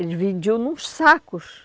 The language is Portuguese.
Eles vendiam nos sacos.